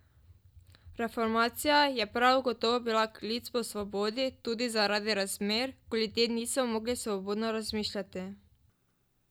Reformacija je prav gotovo bila klic po svobodi tudi zaradi razmer, ko ljudje niso mogli svobodno razmišljati.